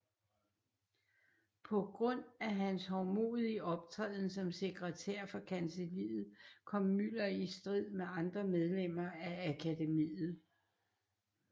På grund af hans hovmodige optræden som sekretær for kancelliet kom Müller i strid med andre medlemmer af akademiet